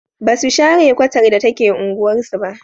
Ba su share kwatar da take unguwarsu ba.